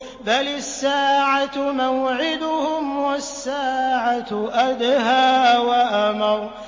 بَلِ السَّاعَةُ مَوْعِدُهُمْ وَالسَّاعَةُ أَدْهَىٰ وَأَمَرُّ